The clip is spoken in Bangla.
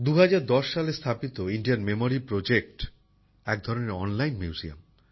২০১০ সালে স্থাপিত ইন্ডিয়ান মেমারি প্রজেক্ট এক ধরনের অনলাইন মিউজিয়াম